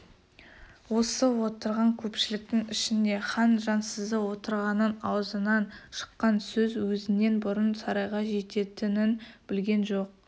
осы отырған көпшіліктің ішінде хан жансызы отырғанын аузынан шыққан сөз өзінен бұрын сарайға жететінін білген жоқ